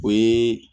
O ye